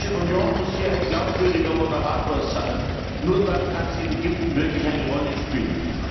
Die Europäische Union muss hier ein glaubwürdiger Moderator sein, nur dann kann sie in Ägypten eine Rolle spielen.